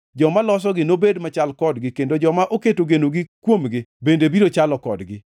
Joma losogi nobed machal kodgi, kendo joma oketo genogi kuomgi bende biro chalo kodgi.